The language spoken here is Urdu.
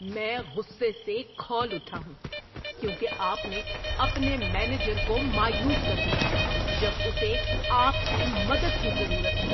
میں غصے سے کھول اٹھا ہوں کیونکہ آپ نے اپنے مینیجر کو مایوس کر دیا جب اسے آپ کی مدد کی ضرورت تھی۔